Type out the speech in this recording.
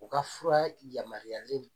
U ka fura yamaruyalen